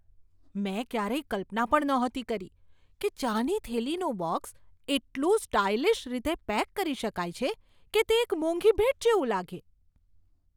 મેં ક્યારેય કલ્પના પણ નહોતી કરી કે ચાની થેલીનું બૉક્સ એટલું સ્ટાઇલિશ રીતે પેક કરી શકાય છે કે તે એક મોંઘી ભેટ જેવું લાગે.